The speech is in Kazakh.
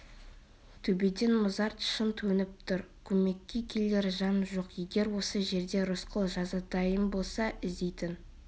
төбеден мұзарт шың төніп тұр көмекке келер жан жоқ егер осы жерде рысқұл жазатайым болса іздейтін